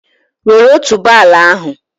Wèré otuboala ahụ